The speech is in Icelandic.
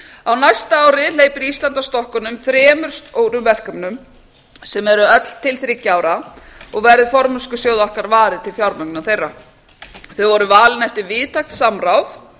á næsta ári hleypir ísland af stokkunum þremur stórum verkefnum sem eru öll til þriggja ára og verður formennskusjóð okkar varið til fjármögnunar þeirra þau eru valin eftir víðtækt samráð